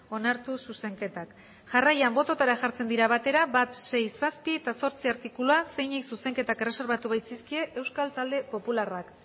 onartu zuzenketak jarraian botoetara jartzen dira batera bat sei zazpi eta zortzi artikulua zeini zuzenketak erreserbatu bai dizkie euskal talde popularrak